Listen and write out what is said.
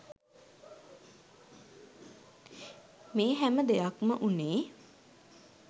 මේ හැම දෙයක්‌ම වුණේ